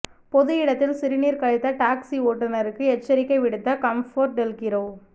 பொது இடத்தில் சிறுநீர் கழித்த டாக்சி ஓட்டுநருக்கு எச்சரிக்கை விடுத்த கம்ஃபர்ட்டெல்கிரோ